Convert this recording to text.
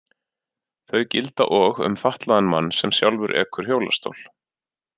Þau gilda og um fatlaðan mann sem sjálfur ekur hjólastól.